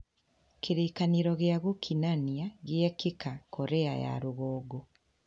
Kĩririkano gĩa gukinania giekeka Korea ya rũgongo.